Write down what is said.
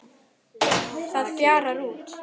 Það fjarar út.